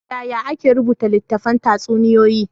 Yaya ake rubuta littafin tatsuniyoyi?